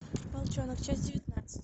волчонок часть девятнадцать